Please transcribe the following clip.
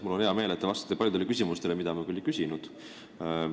Mul on hea meel, et te vastasite paljudele küsimustele, mida ma küll ei küsinud.